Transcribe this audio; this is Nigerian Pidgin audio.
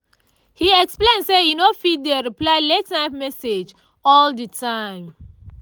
he explain say e no fit dey reply late-night message all the time